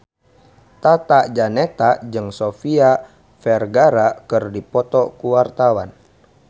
Tata Janeta jeung Sofia Vergara keur dipoto ku wartawan